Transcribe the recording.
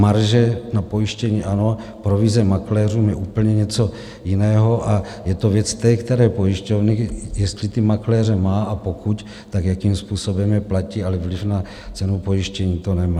Marže na pojištění ano, provize makléřům je úplně něco jiného a je to věc té které pojišťovny, jestli ty makléře má, a pokud, tak jakým způsobem je platí, ale vliv na cenu pojištění to nemá.